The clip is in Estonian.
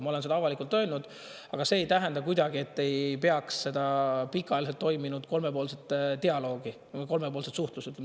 Ma olen seda avalikult öelnud, aga see ei tähenda, et ei peaks olema seda pikaajaliselt toiminud kolmepoolset dialoogi või kolmepoolset suhtlust.